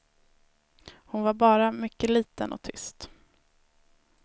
Hon var bara mycket liten och tyst.